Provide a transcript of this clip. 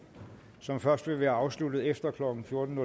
som først vil være afsluttet efter klokken fjorten